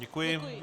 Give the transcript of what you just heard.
Děkuji.